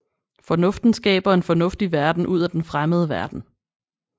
Fornuften skaber en fornuftig verden ud af den fremmede verden